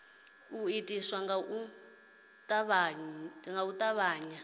u itwa nga u tavhanya